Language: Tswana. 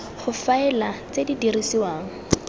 go faela tse di dirisiwang